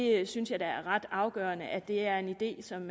jeg synes at det er ret afgørende at det er en idé som